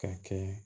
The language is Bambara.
Ka kɛ